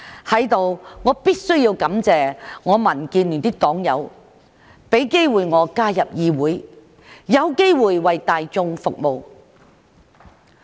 在此，我必須感謝民建聯的黨友，讓我有機會加入議會，有機會為大眾服務。